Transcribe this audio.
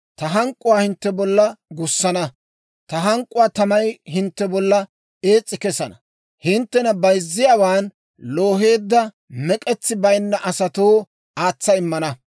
Ta hank'k'uwaa hintte bolla gussana; ta hank'k'uwaa tamay hintte bolla ees's'i kesana. Hinttena bayzziyaawan looheedda, mek'etsi bayinna asatoo aatsa immana.